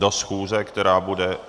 Do schůze, která bude...